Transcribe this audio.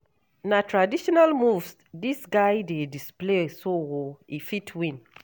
Na traditional moves dis guy dey display so o, e fit win.